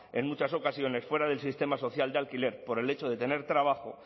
en muchas ocasiones fuera del sistema social de alquiler por el hecho de tener trabajo